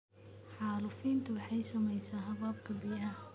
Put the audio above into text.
Xaalufintu waxay saamaysaa hababka biyaha.